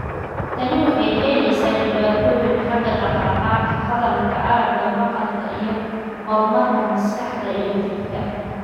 Tani waxay keenaysaa dhibaatooyin xagga dhaqdhaqaaqa, hadalka, aragga, maqalka, iyo horumarka maskaxda iyo jidhka.